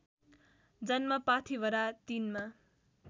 जन्म पाथीभरा ३मा